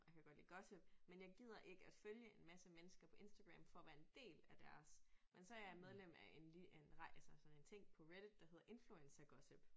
Og jeg kan godt lide gossip men jeg gider ikke at følge en masse mennesker på Instagram for at være en del af deres men så jeg medlem af en en altså sådan en ting på Reddit der hedder Influencergossip